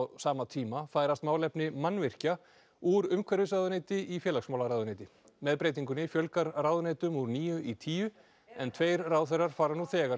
sama tíma færast málefni mannvirkja úr umhverfisráðuneyti í félagsmálaráðuneyti með breytingunni fjölgar ráðuneytum úr níu í tíu en tveir ráðherrar fara nú þegar